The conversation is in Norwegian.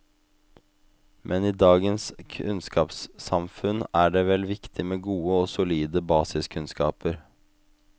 Men i dagens kunnskapssamfunn er det vel viktig med gode og solide basiskunnskaper?